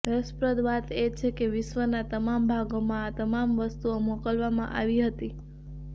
રસપ્રદ વાત એ છે કે વિશ્વના તમામ ભાગોમાં તમામ વસ્તુઓ મોકલવામાં આવી હતી